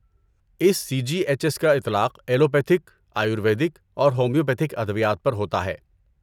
اس C G H S کا اطلاق allopathic, ayurvedic اور ہومیوپیتھک ادویات پر ہوتا ہے۔